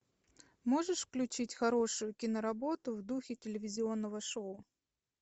можешь включить хорошую киноработу в духе телевизионного шоу